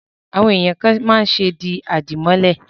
Àwọn èèyàn kàn máa ń ṣe di àdìmọ́lẹ̀